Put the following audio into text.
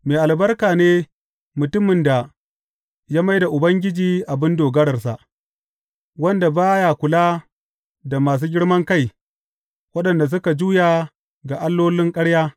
Mai albarka ne mutumin da ya mai da Ubangiji abin dogararsa, wanda ba ya kula da masu girman kai, waɗanda suka juya ga allolin ƙarya.